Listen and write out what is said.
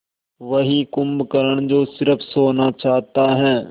वही कुंभकर्ण जो स़िर्फ सोना चाहता है